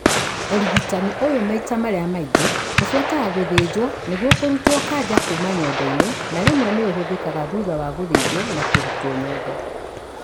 ũrigitani ũyũ maita marĩa maingĩ ũbuataga gũthĩnjwo nĩguo kũrutwo kanja kuma nyondo-inĩ, na rĩmwe nĩũhũthĩkaga thutha wa gũthĩnjwo na kũrutwo nyondo